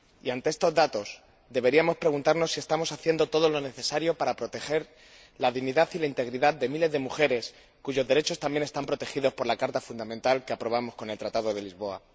Ante estos datos, deberíamos preguntarnos si estamos haciendo todo lo necesario para proteger la dignidad y la integridad de miles de mujeres cuyos derechos también están protegidos por la Carta Fundamental que aprobamos con el Tratado de Lisboa.